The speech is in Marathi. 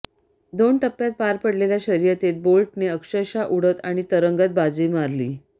दोन टप्यांत पार पडलेल्या शर्यतीत बोल्टने अक्षरशः उडत आणि तरंगत बाजी मारली